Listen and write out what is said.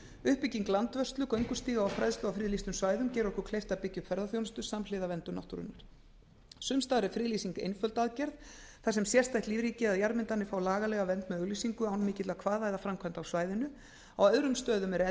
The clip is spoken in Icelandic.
uppbygging landvörslu göngustíga og fræðslu á friðlýstum svæðum gerir okkur kleift að byggja upp ferðaþjónustu samhliða verndun náttúrunnar sums staðar er friðlýsing einföld aðgerð þar sem sérstætt lífríki eða jarðmyndanir fá lagalega vernd með auglýsingu án mikilla kvaða eða framkvæmda á svæðinu á öðrum stöðum er